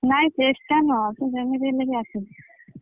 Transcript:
ନାଇଁ ଚେଷ୍ଟା ନୁହଁ ତୁ ଯେମିତି ହେଲେ ବି ଆସିବୁ